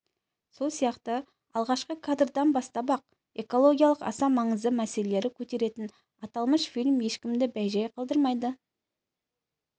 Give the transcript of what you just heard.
сол сияқты алғашқы кадрдан бастап-ақ экологиялық аса маңызды мәселелері көтеретін аталмыш фильм ешкімді бейжәй қалдырмайды